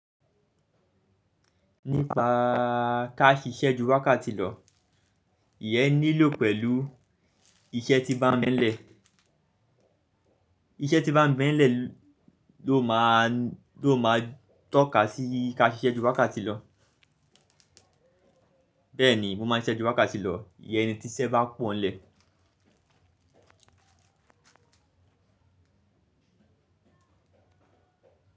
Nípa ká ṣiṣẹ́ ju wákàtì lọ, ìyẹn nílò pẹ̀lú iṣẹ́ tí bá ń bẹ́ẹ̀ nlẹ̀. Iṣẹ́ tí bá ń bẹ́ẹ̀ nlẹ̀ ló máa ń tó ka sí ká ṣiṣẹ́ ju wákàtì lọ. Bẹ́ẹ̀ ni mo máa ń ṣiṣẹ́ ju wákàtì lọ, ìyẹn ni tí iṣẹ́ bá pọ̀n nlẹ̀